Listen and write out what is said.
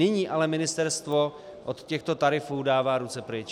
Nyní ale ministerstvo od těchto tarifů dává ruce pryč.